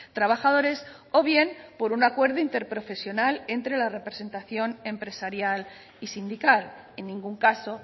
trabajadores o bien por un acuerdo interprofesional entre la representación empresarial y sindical en ningún caso